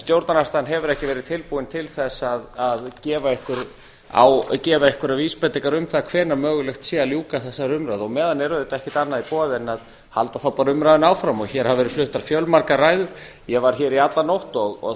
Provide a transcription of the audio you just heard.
stjórnarandstaðan hefur ekki verið tilbúin til þess að gefa einhverjar vísbendingar um það hvenær mögulegt sé að ljúka þessari umræðu og á meðan er auðvitað ekkert annað í boði en að halda þá bara umræðunni áfram hér hafa verið fluttar fjölmargar ræður ég var hér í alla nótt og